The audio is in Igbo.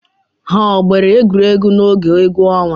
Ha ọ gbara egwuregwu n'oge egwu ọnwa?